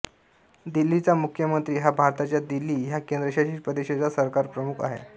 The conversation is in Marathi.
दिल्लीचा मुख्यमंत्री हा भारताच्या दिल्ली ह्या केंद्रशासित प्रदेशाचा सरकारप्रमुख आहे